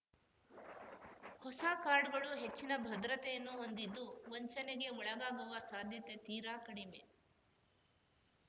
ಹೊಸ ಕಾರ್ಡ್‌ಗಳು ಹೆಚ್ಚಿನ ಭದ್ರತೆಯನ್ನು ಹೊಂದಿದ್ದು ವಂಚನೆಗೆ ಒಳಗಾಗುವ ಸಾಧ್ಯತೆ ತೀರಾ ಕಡಿಮೆ